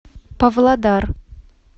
павлодар